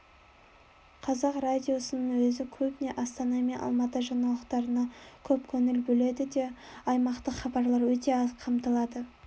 қазақ радиосының өзі көбіне астана мен алматы жаңалықтарына көп көңіл бөледі де аймақтық хабарлар өте аз қамтылады